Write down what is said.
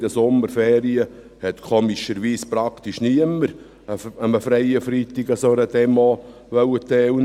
In den Sommerferien wollte seltsamerweise praktisch niemand an einem freien Freitag an einer solchen Demo teilnehmen.